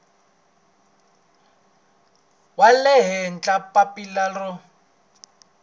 wa le henhla papila ro